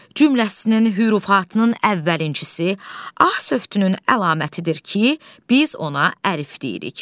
Cümləsinin hürufatının əvvəlinçisi A sövdünün əlamətidir ki, biz ona əlif deyirik.